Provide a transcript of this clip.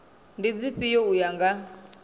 ndi dzifhio u ya nga